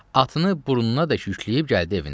Atını burnunadək yükləyib gəldi evinə.